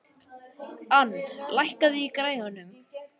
Ann, lækkaðu í græjunum.